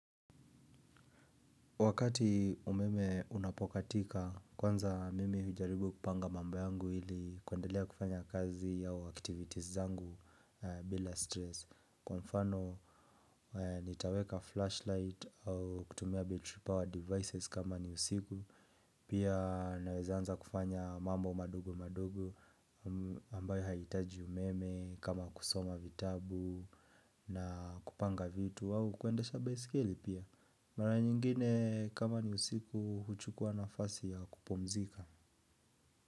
Wakati umeme unapokatika, kwanza mimi hujaribu kupanga mambo yangu ili kuendelea kufanya kazi au activities zangu bila stress. Kwa mfano, nitaweka flashlight au kutumia battery power devices kama ni usiku. Pia naweza anza kufanya mambo madogo madogo ambayo haitaji umeme kama kusoma vitabu na kupanga vitu. Au kuendesha baiskeli pia mara nyingine kama ni usiku huchukua nafasi ya kupumzika.